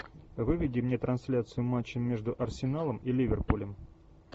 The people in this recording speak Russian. выведи мне трансляцию матча между арсеналом и ливерпулем